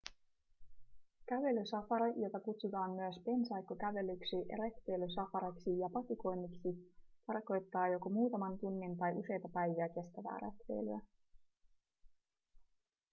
kävelysafari jota kutsutaan myös pensaikkokävelyksi retkeilysafariksi ja patikoinniksi tarkoittaa joko muutaman tunnin tai useita päiviä kestävää retkeilyä